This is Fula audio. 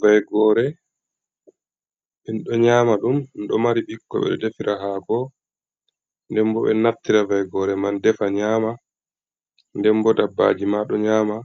Vaygore min ɗo nyama ɗum, ɗo mari ɓikkon. Ɓeɗo defira haako, nden bo ɓeɗo naftira vaygore man defa nyama, nden bo dabbaji ma ɗo nyama,